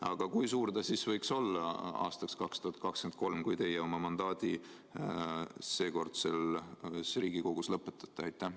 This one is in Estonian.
Aga kui suur see võiks olla aastal 2023, kui teie mandaat seekordses Riigikogus lõpeb?